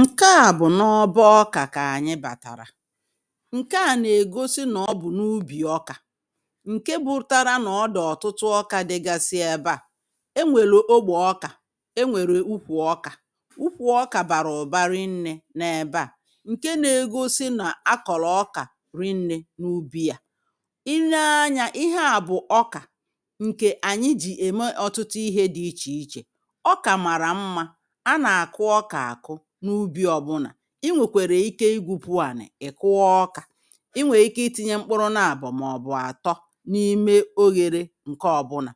Nkè a bụ̀ nà ọbọ ọkà kà ànyị bàtàrà, ǹkè a nà-ègosi nà ọ bụ̀ n’ubì ọkà ǹke bụtara nà ọ dị̀ ọtụtụ ọkà dịgasị ebe à, enwèlè ogbè ọkà enwèrè ukwù ọkà ukwù ọkà bàrà ụ̀ba rinnė nà ebe à ǹke nȧ-ėgosi nà a kọ̀lọ̀ ọkà rinnė n’ubì à, i nee anyȧ ihe à bụ̀ ọkà ǹkè ànyị jì ème ọ̀tụtụ ihe dị̇ ichè ichè. Ọkà mara mma, a na-akụ ọka akụ n'ubi obụna, ị nwèkwèrè ike igwupu ànị̀ ị kụa ọkà, ị nwèrè ike ị tinye mkpụrụ naabọ̀ mà ọ̀ bụ̀ àtọ n’ime oghere ǹke ọ̀bụnà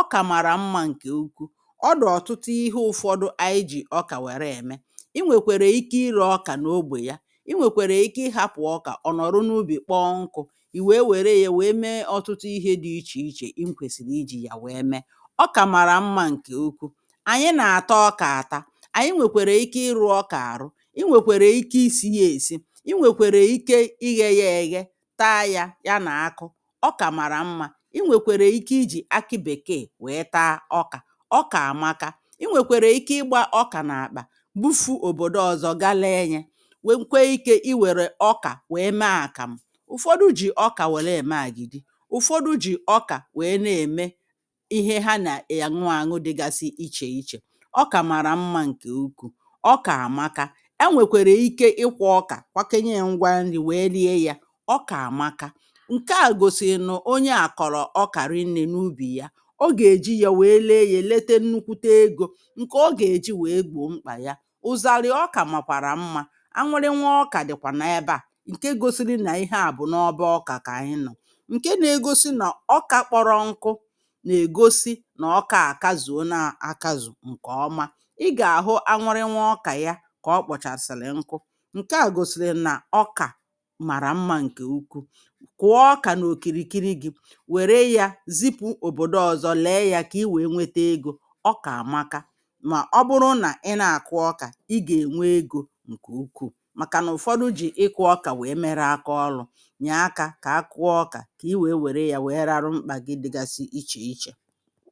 ọkà màrà mmȧ ǹkè ukwu ọ dụ ọ̀tụtụ ihe ụ̇fọdụ ayị ji̇ ọkà wère ème. Ị nwèkwèrè ike ịrė ọ̇kà n’ogbè ya, ị nwèkwèrè ike ị hapụ̀ ọkà ọ̀nọ̀rọ n’ubì kpọọ nkụ̇ ì wèe wère ya wère mee ọ̀tụtụ ihe dị̇ ichè ichè ị kwesịrị ijì yà wèe mee. Ọkà màrà mmȧ ǹkè okwu, ànyị nà àta ọkà àta, anyị nwèkwèrè ike ịrụ ọkà arụ, ị nwekwere ike isi̇ ya èsi, ị nwèkwèrè ike ị ghe ya èghe, taa yȧ ya nà akụ ọ kà màrà mmȧ ị nwèkwèrè ike ijì akị bèkeè wèe taa ọkà. Ọkà àmaka, ị nwèkwèrè ike ịgbȧ ọkà nà-àkpà gbufu òbòdo ọzọ gaa leė nyė, nwè nkwe ikė i wèrè ọkà wèe mee àkàmụ ụ̀fọdụ jì ọkà wèle ème àgìdì ụ̀fọdụ jì ọkà wèe na-ème ihe ha nà è. àṅụàṅụ dịgasi ichè ichè ọkà mara mma nke ukwuu, ọkà amaka, e nwèkwèrè ike ịkwọ ọkà kwakenye ngwa nri̇ wèe lie yȧ, ọkà àmaka ǹke à gosi nụ onye à kọ̀rọ̀ ọkà rị̇nne n’ubì ya, ọ gà-èji yȧ wèe lee yȧ èlete nnukwute egȯ ǹkè ọ gà-èji wèe gbò mkpà ya. Ụzarị ọkà màkwàrà mmȧ anwụrịnwa ọkà dị̀kwà nà ebe à ǹke gosi nà ihe à bụ̀ nà ọbọ ọkà kà anyị nọ̀, ǹke nȧ-egosi nà ọkà kpọrọ nkụ nà ègosi nà ọkà àkazùona akazù ǹkè ọma. Ị ga ahụ anwụrịnwa ọkà ya kà ọ kpọ̀chàsị̀lị̀ nku ǹke à gòsìlì nà ọkà màrà mmȧ ǹkè ukwu. Kụ̀ọ ọkà n’òkìrìkiri gị̇ wère yȧ zipụ̇ òbòdo ọzọ lèe ya kà i wèe nwete egȯ ọkà àmaka mà ọ bụrụ nà ị nà àkụ ọkà ị gà ènwe egȯ ǹkè ukwuù màkà nà ụ̀fọdụ jì ịkụ̇ ọkà wèe mere akȧ ọlụ̇. Nyè aka kà akụwa ọkà kà i wèe wère yȧ wèe rarụ mkpà gị dịgasị ichè ichè